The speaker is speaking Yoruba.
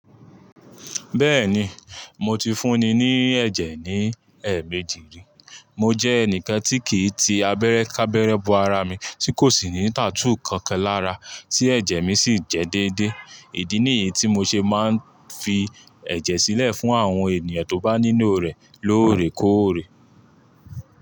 Bẹ́ẹ̀ni, mo ti fúnni ní ẹ̀jẹ̀ ní ẹ̀ẹ̀mejì rí. Mo jẹ́ ẹnìkan tí kì í ti abẹ́rẹ́ ká bẹ́rẹ́ bo ara mi, tí kò sì ní tattoo kankan lára, tí ẹ̀jẹ̀ mi sì ń jẹ dédé. Ìdí nìyí tí mo ṣe máa ń fi ẹ̀jẹ̀ sílẹ̀ fún àwọn ènìyàn tó bá nílò rẹ̀ lóòrèkóòrè.